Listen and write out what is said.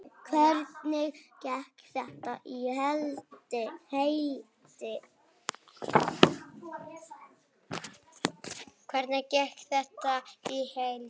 Hvernig gekk þetta í heild?